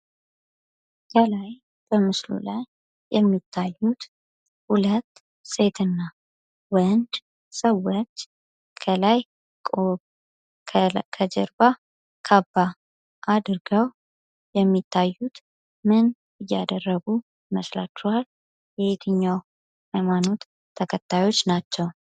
ከላይ ከምስሉ ላይ የሚታዩት ሁለት ሴት እና ወንድ ሰዎች ከላይ ቆቦ ከጀርባ ካባ አድርገው የሚታዩት ምን እያደረጉ ይመስላቹሃል? የየትኛው ሃይማኖት ተከታዮች ናቸው?